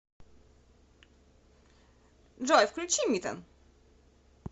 джой включи митен